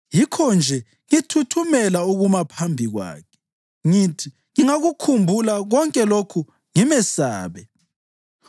Yikho-nje ngithuthumela ukuma phambi kwakhe; ngithi ngingakukhumbula konke lokhu ngimesabe.